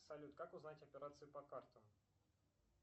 салют как узнать операции по картам